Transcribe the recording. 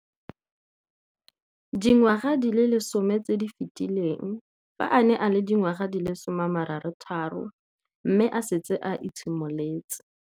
Dingwaga di le 10 tse di fetileng, fa a ne a le dingwaga di le 23 mme a setse a itshimoletse.